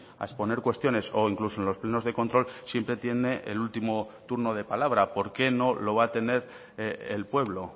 a exponer cuestiones o incluso en los plenos de control siempre tiene el último turno de palabra por qué no lo va a tener el pueblo